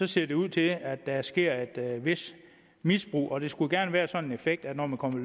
ser det ud til at der sker et vist misbrug der skulle gerne være den effekt at når man kommer i